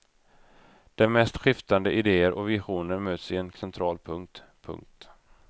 De mest skiftande idéer och visioner möts i en central punkt. punkt